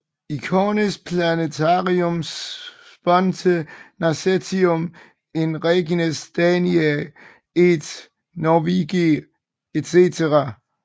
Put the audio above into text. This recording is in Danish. Icones plantarum sponte nascentium in regnis Daniæ et Norvegiæ etc